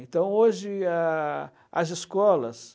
Então, hoje, a as escolas...